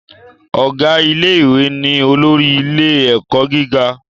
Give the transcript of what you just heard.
Ọ̀gá ilé ìwé ni olórí ilé ẹ̀kọ́ gíga